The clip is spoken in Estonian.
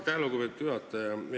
Aitäh, lugupeetud juhataja!